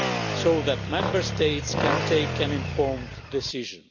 so that Member States can take an informed decision.